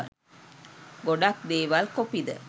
ගොඩක් දේවල් කොපිද.